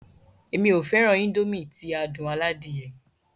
Èmi ó fẹràn Índòmí ti adùn aládìyẹ.